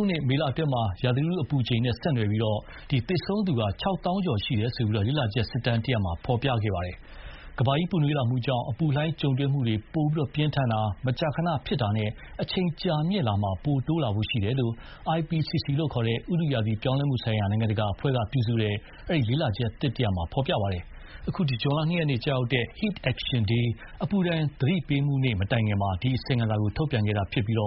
ုနှစ် မေလအတွင်း ရာသီဥတုအပူချိန်နဲ့ဆက်နွယ်ပြီး သေဆုံးသူ ၆၀,၀၀၀ ကျော်ရှိတယ်လို့ လေ့လာချက်စစ်တမ်းတရပ်မှာဖော်ပြပါတယ်။ ကမ္ဘာကြီးပူနွေးလာမှုကြောင့် အပူလှိုင်းပိုပြင်းထန်တာ၊ မကြာခဏဖြစ်တာနဲ့ အချိန်ကြာမြင့်မှုမှာ ပိုတိုးလာဖို့ရှိတယ်လို့ IPCC လို့ ခေါ်တဲ့ ဥတုရာသီပြောင်းလဲမှုဆိုင်ရာ နိုင်ငံတကာအဖွဲ့က ပြုစုတဲ့ အဲဒီလေ့လာချက်သစ်မှာဖော်ပြပါတယ်။ အခုဇွန်လ ၂ ရက်နေ့ ကျရောက်တဲ့ Heat Action Day အပူဒဏ်သတိပေးမှုနေ့မတိုင်ခင်မှာ ဒီအစီရင်ခံစာထုတ်ပြန်တာဖြစ်ပြီး အဲ